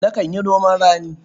Nakan yi noman rani.